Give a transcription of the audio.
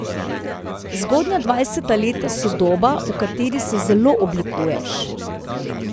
Zgodnja dvajseta leta so doba, v kateri se zelo oblikuješ.